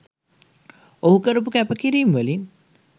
ඔහු කරපු කැපකිරීම් වලින්